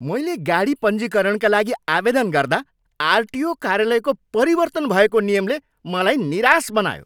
मैले गाडी पञ्जीकरणका लागि आवेदन गर्दा आरटिओ कार्यालयको परिवर्तन भएको नियमले मलाई निराश बनायो।